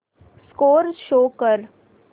score show कर